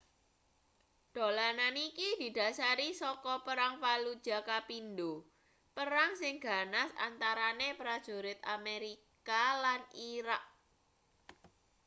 dolanan iki didhasari saka perang fallujah kapindo perang sing ganas antarane prajurit amerika lan irak